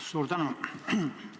Suur tänu!